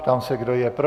Ptám se, kdo je pro.